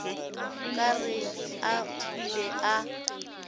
ka re a hwile a